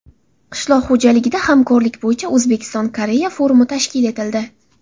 Qishloq xo‘jaligida hamkorlik bo‘yicha O‘zbekiston Koreya forumi tashkil etildi.